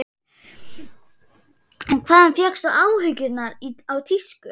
Hvaðan fékkstu áhugann á tísku?